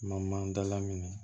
Ma dala minɛ